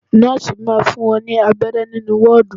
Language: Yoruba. Nọ́ọ̀si máa fún wọn ní abẹrẹ nínú wọ́ọ́dù.